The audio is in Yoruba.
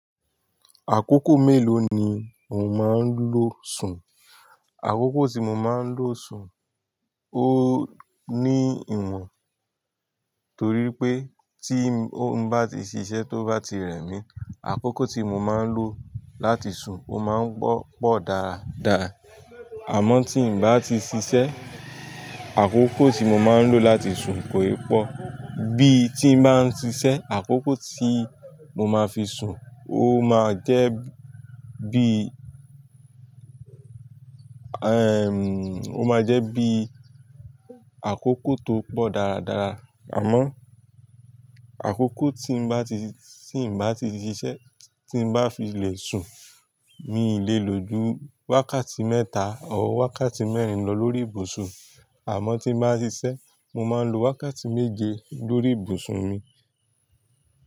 Àkókò mélòó ni o máa ń lo sùn? Àkókò tí mo máa ń lo sùn ó ní ìwọ̀n torí pé tí n ò bá ti ṣiṣẹ́ tó bá ti rẹmi àkókò tí mo máa ń lo láti sùn ó máa ń pọ̀ dáadáa. Àmọ́ tí n bá ti ṣiṣẹ́ àkókò tí mo máa ń lo láti sùn kò è pọ̀. Bí tí n bá ń ṣiṣẹ́ àkókò tí mo máa fi sùn ó máa jẹ́ bí, ẹm ó máa jẹ́ bí àkókò tó pọ̀ dáadáa. Àmọ́ àkókò tí n bá ti, tí n bá ti ṣiṣẹ́ tí n bá fi lè sùn mi lè lo ju wákàtí mẹ́ta or wákàtí mẹ́rin lọ lórí ìbùsùn. Àmọ́ tí n bá ṣiṣẹ́ mo máa ń lo wákàtí méje lórí ìbùsùn mi.